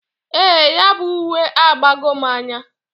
Ee, ya bu uwe abago m n"anya.